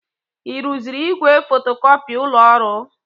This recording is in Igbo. Ị rụziri igwe fotocopi ụlọ ọrụ?